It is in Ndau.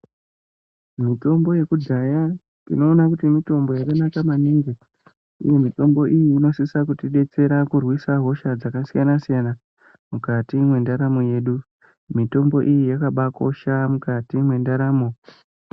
Mitombo yekudhaya tinoona kuti mitombo yakanaka maningi uye mitombo iyi inosisa kutidetsera kurwisa hosha dzakasiyana siyana mukati mwendaramo yedu, mitombo iyi yakabakosha mukati mwendaramo.